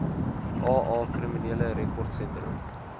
aa kriminele rekordsentrum